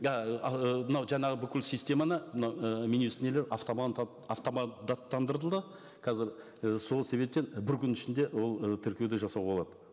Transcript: да ыыы мынау жаңағы бүкіл системаны мынау і мин юст нелер қазір і сол себептен бір күннің ішінде ол і тіркеуді жасауға болады